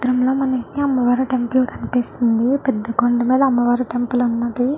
ఈ చిత్రం లో మనకి అమ్మవారు టెంపుల్ కనిపిస్తుంది పెద్ద కొండ మీద అమ్మవారు టెంపుల్ ఉన్నది.